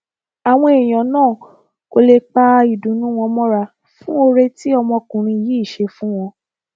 àwọn èèyàn náà kò lè pa ìdùnnú wọn mọra fún oore tí ọmọkùnrin yìí ṣe fún wọn